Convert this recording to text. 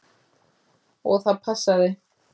Og það passaði.